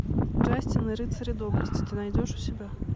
джастин и рыцари доблести ты найдешь у себя